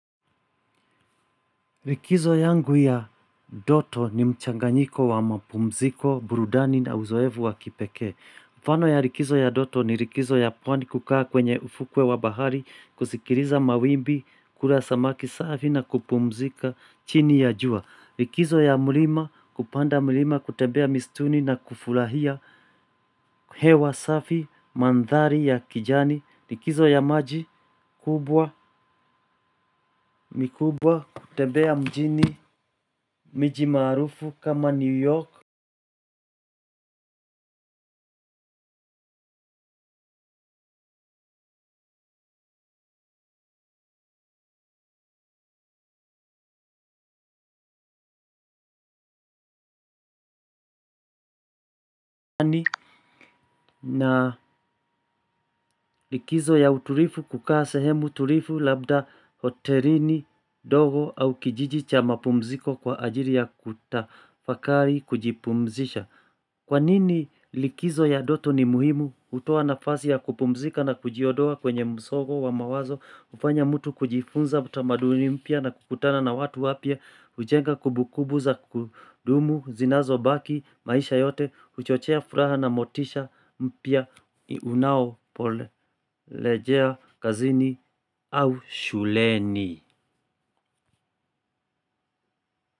Likizo yangu ya ndoto ni mchanganyiko wa mapumziko, burudani na uzoefu wa kipekee. Mfano ya likizo ya ndoto ni likizo ya pwani kukaa kwenye ufuo wa bahari, kusikiliza mawimbi, kula samaki safi na kupumzika chini ya jua. Likizo ya mlima kupanda mlima kutembea mistuni na kufurahia hewa safi mandhari ya kijani. Likizo ya maji kubwa mikubwa kutembea mjini miji maarufu kama New York. Na likizo ya uturivu kukaa sehemu tulivu labda hotelini ndogo au kijiji cha mapumziko kwa ajili ya kutafakari kujipumzisha. Kwa nini likizo ya ndoto ni muhimu kutoa nafasi ya kupumzika na kujiondoa kwenye msogo wa mawazo kufanya mtu kujifunza utamaduni mpya na kukutana na watu wapya. Ujenga kumbukumbu za kudumu zinazo baki maisha yote huchochea furaha na motisha mpya unao pole rejea kazini au shuleni.